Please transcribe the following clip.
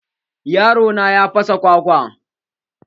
Yaro na ya fasa kwakwan.